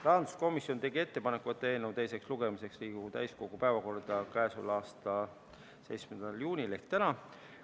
Rahanduskomisjon tegi ettepaneku võtta eelnõu teiseks lugemiseks Riigikogu täiskogu päevakorda k.a 17. juunil ehk täna.